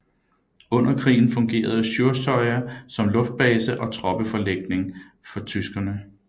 Under krigen fungerede Sjursøya som luftbase og troppeforlægning for tyskerne